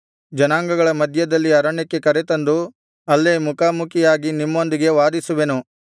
ಜನಾಂಗಗಳ ಮಧ್ಯದ ಅರಣ್ಯಕ್ಕೆ ಕರೆ ತಂದು ಅಲ್ಲೇ ಮುಖಾಮುಖಿಯಾಗಿ ನಿಮ್ಮೊಂದಿಗೆ ವಾದಿಸುವೆನು